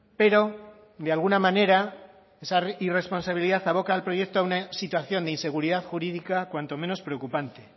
pero de alguna manera esa irresponsabilidad aboca al proyecto a una situación de inseguridad jurídica cuanto menos preocupante